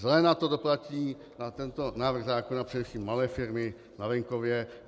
Zle na to doplatí, na tento návrh zákona, především malé firmy na venkově.